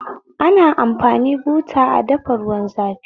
Ana amfani buta a dafa ruwan zafi